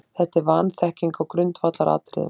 Þetta er vanþekking á grundvallaratriðum.